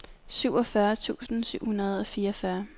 syvogfyrre tusind syv hundrede og fireogfyrre